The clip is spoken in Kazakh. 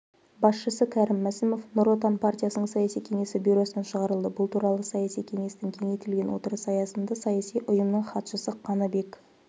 басшысы кәрім мәсімов нұр отан партиясының саяси кеңесі бюросынан шығарылды бұл туралы саяси кеңестің кеңейтілген отырысы аясында саяси ұйымның хатшысы қаныбек